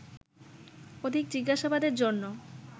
অধিক জিজ্ঞাসাবাদের জন্য